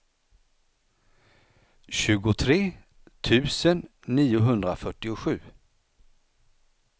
tjugotre tusen niohundrafyrtiosju